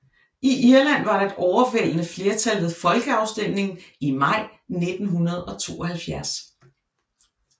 I Irland var der et overvældende flertal ved folkeafstemningen i maj 1972